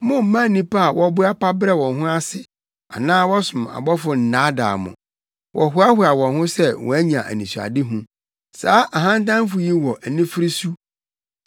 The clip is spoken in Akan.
Mommma nnipa a wɔboa pa brɛ wɔn ho ase anaa wɔsom abɔfo nnaadaa mo; wɔhoahoa wɔn ho sɛ wɔanya anisoadehu. Saa ahantanfo yi wɔ anifere su.